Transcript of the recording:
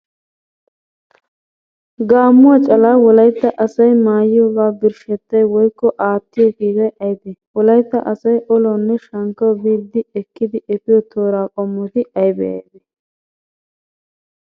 Gaammuwaa calaa Wolaytta asay maayiyogawu birshshettay woykko aattiyo kiitay aybee? Wolaytta asay olawunne shankkawu biiddi ekkidi efiyo tooraa qommoti aybee aybee?